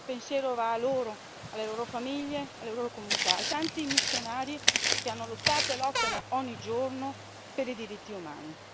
Il mio pensiero va a loro, alle loro famiglie, alle loro comunità, ai tanti missionari che hanno lottato e lottano ogni giorno per i diritti umani.